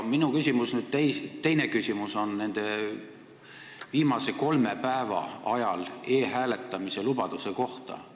Minu teine küsimus on viimasel kolmel päeval e-hääletamise kohta.